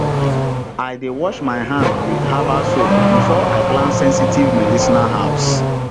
i dey wash my hand with herbal soap before i plant sensitive medicinal herbs